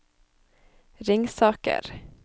Ringsaker